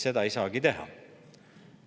Seda ei saagi teha.